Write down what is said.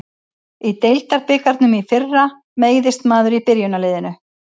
Í deildabikarnum í fyrra meiðist maður í byrjunarliðinu.